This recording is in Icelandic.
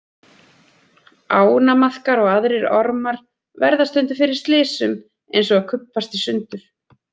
Ánamaðkar og aðrir ormar verða stundum fyrir slysum eins og að kubbast í sundur.